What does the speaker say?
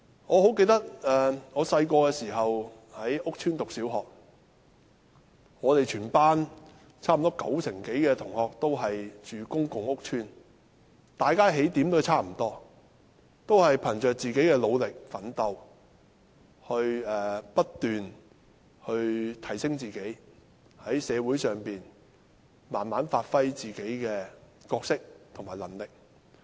我十分記得，我小時候在屋邨讀小學，全班差不多九成的同學均居住在公共屋邨，大家的起點差不多，都是憑着自己的努力奮鬥，不斷提升自己，在社會上慢慢發揮個人的角色和能力。